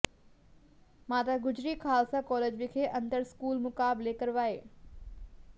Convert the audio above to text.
ਮਾਤਾ ਗੁਜਰੀ ਖ਼ਾਲਸਾ ਕਾਲਜ ਵਿਖੇ ਅੰਤਰ ਸਕੂਲ ਮੁਕਾਬਲੇ ਕਰਵਾਏ